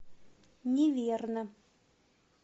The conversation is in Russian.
неверно